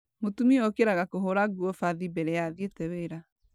Mũtumia okĩraga kũhũra nguo bathi mbere ya athiĩte wĩra.